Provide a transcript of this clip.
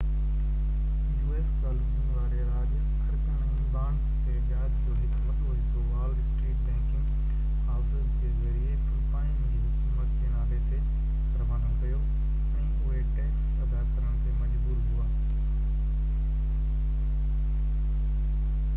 u.s. Colony واري راڄ خرچن ۽ بانڊز تي وياج جو هڪ وڏو حصو وال اسٽريٽ بئنڪنگ هائوسز جي ذريعي فلپائن جي حڪومت جي نالي تي روانو ڪيو ۽ اهي ٽيڪس ادا ڪرڻ تي مجبور هئا